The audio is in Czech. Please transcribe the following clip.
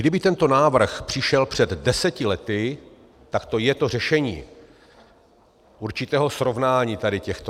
Kdyby tento návrh přišel před deseti lety, tak to je to řešení určitého srovnání tady těchto.